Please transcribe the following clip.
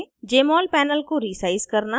* jmol panel को resize करना